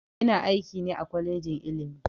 Ina aiki ne a kwalejin ilimi